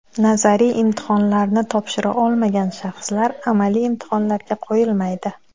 Nazariy imtihonlarni topshira olmagan shaxslar amaliy imtihonlarga qo‘yilmaydi.